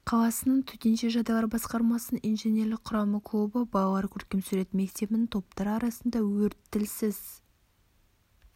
қаласының төтенше жағдайлар басқармасының инженерлік құрамы клубы балалар көркем сурет мектебінің топтар арасында өрт тілсіз